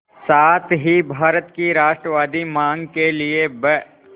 साथ ही भारत की राष्ट्रवादी मांग के लिए ब्